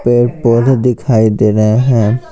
पेड़ पौधे दिखाई दे रहे हैं।